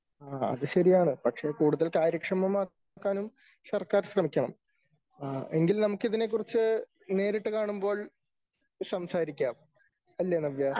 ആ അത്ശെരിയാണ് പക്ഷേ കൂടുതൽ കാര്യക്ഷമമാക്കാനും സർക്കാർ ശ്രമിക്കണം. എങ്കിൽ നമുക്ക് ഇതിനെക്കുറിച്ച് നേരിട്ട് കാണുമ്പോൾ സംസാരിക്കാം അല്ലേ ?